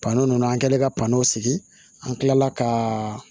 Patɔrɔn nunnu an kɛlen ka parɔn sigi an kila la ka